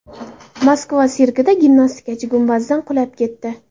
Moskva sirkida gimnastikachi gumbazdan qulab ketdi.